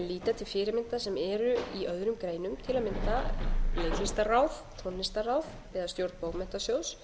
að líta til fyrirmynda sem eru í öðrum greinum til að mynda leiklistarráðs tónlistarráðs eða stjórn bókmenntasjóðs